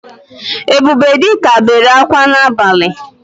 Ebubedika bere akwa n’abali